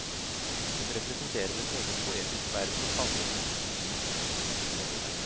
Den representerer en egen poetisk verden og favner mennskets liv fra fødsel til evigheten.